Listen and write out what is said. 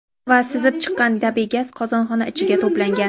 Va sizib chiqqan tabiiy gaz qozonxona ichiga to‘plangan.